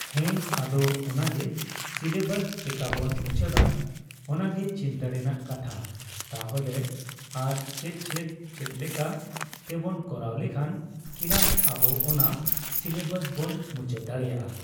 ᱦᱮᱸ ᱟᱫᱚ ᱚᱱᱟᱜᱮ ᱥᱤᱞᱮᱵᱟᱥ ᱪᱮᱠᱟᱵᱚᱱ ᱢᱩᱪᱟᱹᱫᱟ ᱚᱱᱟᱜᱮ ᱪᱤᱱᱛᱟ. ᱨᱮᱱᱟᱜ ᱠᱟᱛᱷᱟ ᱛᱟᱦᱞᱮ ᱟᱨ ᱪᱮᱫ ᱪᱮᱫ ᱪᱮᱫᱞᱮᱠᱟ ᱛᱮᱵᱚᱱ ᱠᱚᱨᱟᱣ ᱞᱮᱠᱷᱟᱱ ᱠᱮᱞᱟᱥ ᱟᱵᱚ ᱚᱱᱟ ᱥᱤᱞᱮᱵᱟᱥ ᱵᱚᱱ ᱢᱩᱪᱟᱹᱫ ᱫᱟᱲᱮᱭᱟᱜᱼᱟ ᱾